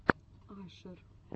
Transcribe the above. ашер